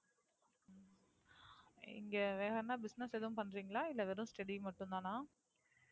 இங்க வேறென்ன Business எதும் பண்றீங்களா? இல்ல வெறும் Study மட்டும் தானா?